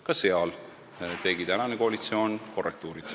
Ka seal tegi tänane koalitsioon korrektiive.